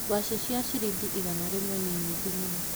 Ngwacĩ cia ciringi igana rĩmwe nĩ nyingĩ mũno.